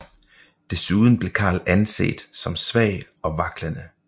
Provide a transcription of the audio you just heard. Desuden blev Karl anset som svag og vaklende